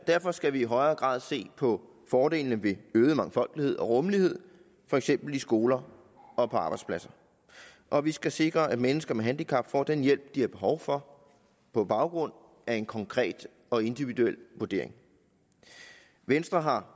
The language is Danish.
derfor skal vi i højere grad se på fordelene ved øget mangfoldighed og rummelighed for eksempel i skoler og på arbejdspladser og vi skal sikre at mennesker med handicap får den hjælp de har behov for på baggrund af en konkret og individuel vurdering venstre har